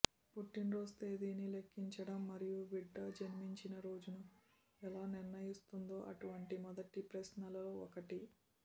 పుట్టినరోజు తేదీని లెక్కించడం మరియు బిడ్డ జన్మించిన రోజును ఎలా నిర్ణయిస్తుందో అటువంటి మొదటి ప్రశ్నలలో ఒకటి